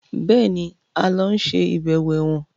Béèni a ló ń ṣe ibẹwo èwòn.